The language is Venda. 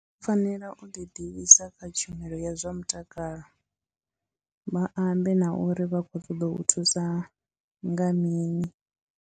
U fanela u ḓi ḓivhisa kha tshumelo ya zwa mutakalo, vha ambe na uri vha khou ṱoḓa u thusa nga mini.